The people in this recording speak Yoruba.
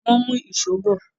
wón mú Èṣó bọ.